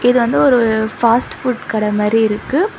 இது வந்து ஒரு ஃபாஸ்ட் ஃபுட் கட மாரி இருக்கு.